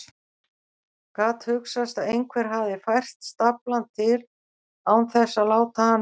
Gat hugsast að einhver hefði fært staflann til án þess að láta hann vita?